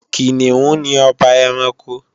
Kìnìún ni ọba ẹranko